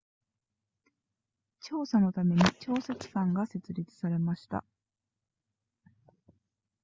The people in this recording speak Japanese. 調査のために調査機関が設立されました